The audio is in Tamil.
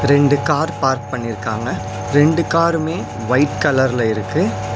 ரெண்டு கார் பார்க் பண்ணிருக்காங்க ரெண்டு காருமே ஒயிட் கலர்ல இருக்கு.